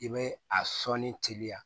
I bɛ a sɔnni teliya